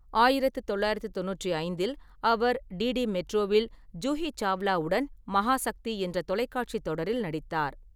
ஆயிரத்து தொள்ளாயிரத்து தொண்ணூற்றி ஐந்தில் அவர் டிடி மெட்ரோவில் ஜூஹி சாவ்லாவுடன் மகாசக்தி என்ற தொலைக்காட்சி தொடரில் நடித்தார்.